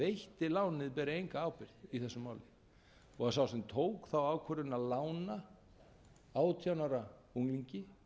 lánið beri enga ábyrgð í þessu máli og sá sem tók þá ákvörðun að lána átján ára unglingi